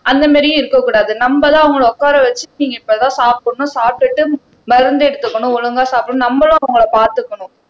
அந்த மாதிரியும் இருக்கக் கூடாது நம்மதான் அவங்களை உட்கார வச்சு நீங்க இப்பதான் சாப்பிடணும் சாப்பிட்டுட்டு மருந்து எடுத்துக்கணும் ஒழுங்கா சாப்பிடணும் நம்மதான் அவங்களை பார்த்துக்கணும்